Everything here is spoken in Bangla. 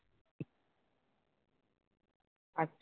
আচ্ছা